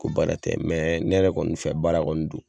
Ko baara tɛ mɛ ne yɛrɛ kɔni fɛ baara kɔni don